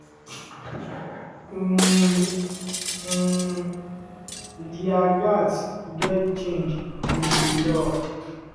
um um "dia gatz get change in di law.